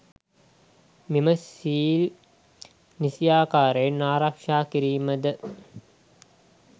මෙම සිල් නිසි ආකාරයෙන් ආරක්ෂා කිරීම ද